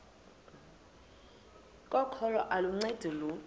kokholo aluncedi lutho